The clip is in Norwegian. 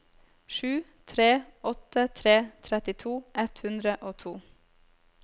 sju tre åtte tre trettito ett hundre og to